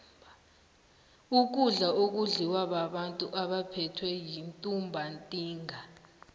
ukudla akudliwa babantu abaphethwe yintumbantinga